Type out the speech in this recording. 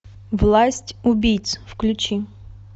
власть убийц включи